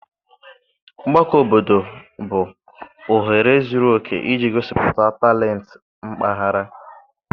Mgbakọ obodo bụ ohere zuru oke iji gosipụta talent mpaghara.